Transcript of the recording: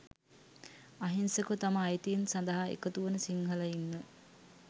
අහිංසකව තම අයිතීන් සඳහා එකතුවන සිංහලයින්ව